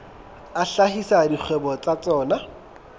a hlahisa dikgwebo tsa tsona